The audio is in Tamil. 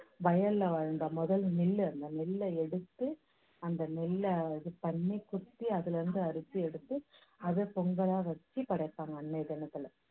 வயல்ல வந்த முதல் நெல்லு, அந்த நெல்லை எடுத்து, அந்த நெல்லை இது பண்ணி குத்தி அதுலருந்து அரிசி எடுத்து, அதை பொங்கலா வெச்சு படைப்பாங்க அன்னைய தினத்துல